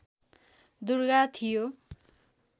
दुर्गा थियो